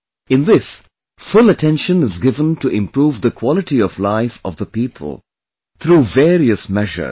In this, full attention is given to improve the quality of life of the people through various measures